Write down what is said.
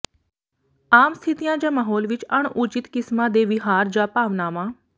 ਆਮ ਸਥਿਤੀਆਂ ਜਾਂ ਮਾਹੌਲ ਵਿਚ ਅਣਉਚਿਤ ਕਿਸਮਾਂ ਦੇ ਵਿਹਾਰ ਜਾਂ ਭਾਵਨਾਵਾਂ